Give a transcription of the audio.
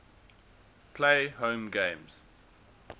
play home games